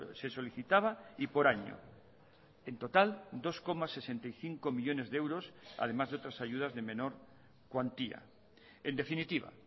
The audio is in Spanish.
se solicitaba y por año en total dos coma sesenta y cinco millónes de euros además de otras ayudas de menor cuantía en definitiva